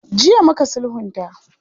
Jiya muka sulhunta.